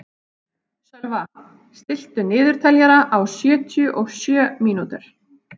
Sölva, stilltu niðurteljara á sjötíu og sjö mínútur.